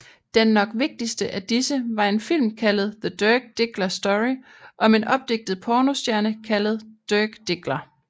Den nok vigtigste af disse var en film kaldet The Dirk Diggler Story om en opdigtet pornostjerne kaldet Dirk Diggler